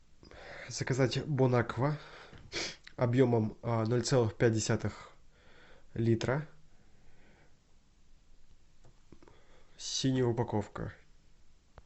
заказать бон аква объемом ноль целых пять десятых литра синяя упаковка